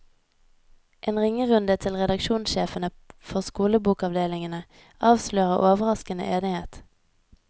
En ringerunde til redaksjonssjefene for skolebokavdelingene avslører overraskende enighet.